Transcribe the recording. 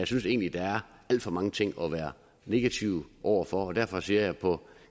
synes egentlig der er alt for mange ting at være negativ over for og derfor siger jeg at på